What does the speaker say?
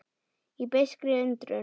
Í beiskri undrun.